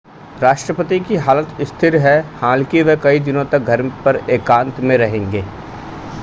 राष्ट्रपति की हालत स्थिर है हालांकि वह कई दिनों तक घर पर एकांत में रहेंगे